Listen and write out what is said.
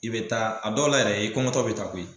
I bɛ taa a dɔ la yɛrɛ i kɔngɔtɔ bɛ taa koyi.